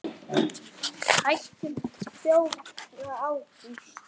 Hættum fjórða ágúst.